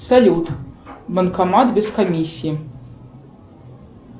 салют банкомат без комиссии